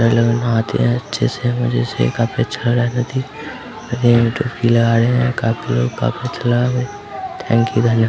अलग-अलग नहाते है अच्छे से मुझे थैंक्यू --